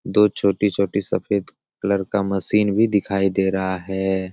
दो छोटी-छोटी सफेद कलर का मशीन भी दिखाई दे रहा है।